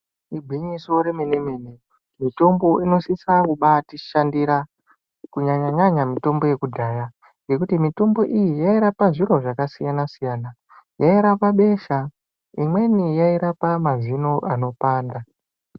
Igwinyiso remenemene mitombo inosisa kubatishandira kunyanyanyanya mitombo yekudhaya ngekuti mitombo iyi yairapa zviro zvakasiyana siyana yairapa besha imweni yairapa mazino anopanda.